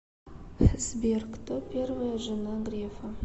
сбер кто первая жена грефа